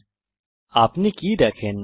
এবং আপনি কি দেখেন